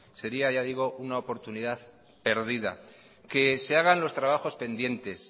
sería ya digo una oportunidad perdida que se hagan los trabajos pendientes